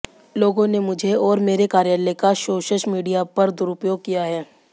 लोगों ने मुझे और मेरे कार्यालय का सोशश मीडिया पर दुरुपयोग किया है